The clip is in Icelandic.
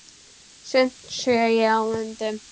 Sumt sé ég á myndum.